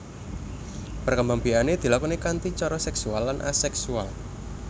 Perkembangbiakané dilakoni kanti cara seksual lan aseksual